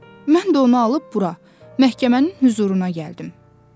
Mən də onu alıb bura, məhkəmənin hüzuruna gəldim.”